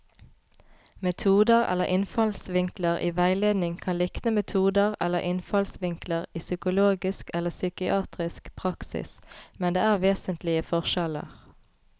Metoder eller innfallsvinkler i veiledning kan likne metoder eller innfallsvinkler i psykologisk eller psykiatrisk praksis, men det er vesentlige forskjeller.